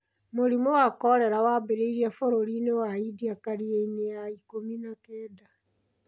Mũrimũ wa kolera wambĩrĩirie bũrũri-inĩ wa India karine-inĩ ya ikũmi na kenda.